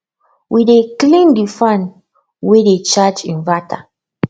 we dey clean de fan way dey charge inverter